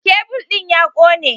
Kebul ɗin ya kone